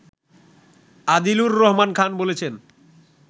আদিলুর রহমান খান বলছেন